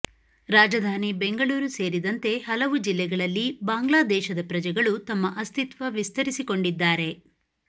ರಾಜಧಾನಿ ಬೆಂಗಳೂರು ಸೇರಿದಂತೆ ಹಲವು ಜಿಲ್ಲೆಗಳಲ್ಲಿ ಬಾಂಗ್ಲಾದೇಶದ ಪ್ರಜೆಗಳು ತಮ್ಮ ಅಸ್ತಿತ್ವ ವಿಸ್ತರಿಸಿಕೊಂಡಿದ್ದಾರೆ